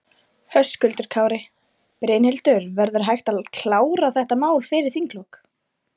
Höskuldur Kári: Brynhildur, verður hægt að klára þetta mál fyrir þinglok?